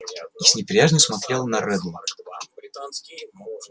и с неприязнью смотрела на реддла